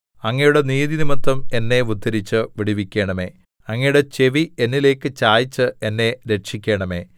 അങ്ങയുടെ നീതിനിമിത്തം എന്നെ ഉദ്ധരിച്ച് വിടുവിക്കണമേ അങ്ങയുടെ ചെവി എന്നിലേക്ക് ചായിച്ച് എന്നെ രക്ഷിക്കണമേ